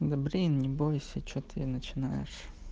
да блин не бойся что ты начинаешь